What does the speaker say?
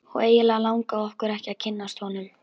Og eiginlega langaði okkur ekki að kynnast honum.